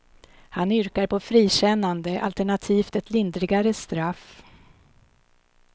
Han yrkar på frikännande, alternativt ett lindrigare straff.